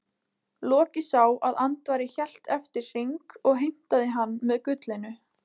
Loki sá að Andvari hélt eftir hring og heimtaði hann með gullinu.